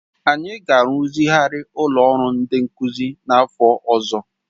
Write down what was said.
Anyị ga-arụzigharị ụlọ ọrụ ndi nkuzi n'afọ ọzọ.